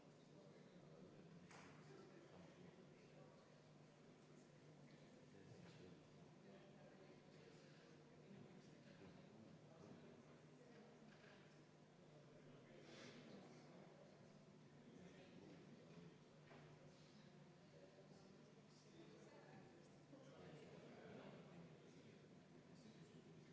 Vaheaeg on läbi ja meil on võimalus nüüd hääletada viiendat muudatusettepanekut, mille on esitanud majanduskomisjon ja mida on arvestatud täielikult.